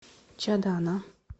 чадана